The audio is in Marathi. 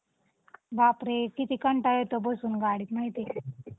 अच्छा. .